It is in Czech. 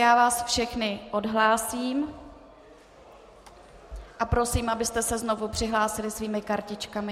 Já vás všechny odhlásím a prosím, abyste se znovu přihlásili svými kartičkami.